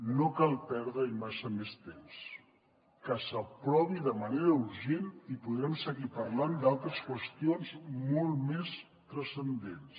no cal perdre hi massa més temps que s’aprovi de manera urgent i podrem seguir parlant d’altres qüestions molt més transcendents